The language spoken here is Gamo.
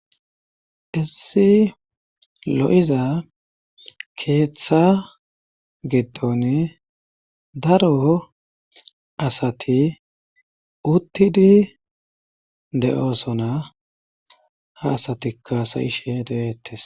issi lo7iza keeththa giddon daroo asati uttidi de7oosona ha asatika hasayishe de7eettes